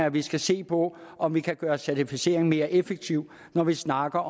at vi skal se på om vi kan gøre certificeringen mere effektiv når vi snakker